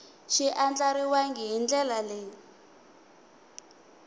xi andlariwangi hi ndlela leyi